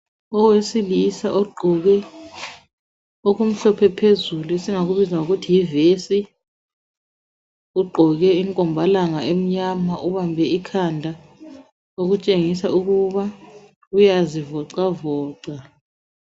Owesilisa ogqoke okumhlophe phezulu esingakubiza ngokuthi yivesi. Ugqoke inkombalanga emnyama, ubambe ikhanda okutshengisa ukuba uyazivoxavoxa.